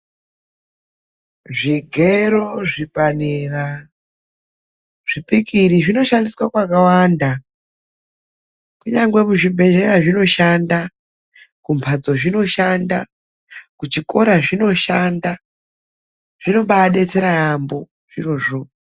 Zvigero; zvipanera, zvipikiri zvinoshandiswa kwakawanda. Kunyangwe muzvibhedhlera zvinoshanda, kumhatso zvinoshanda, kuchikora zvinoshanda. Zvinombaadetsera yaambo zvirozvo.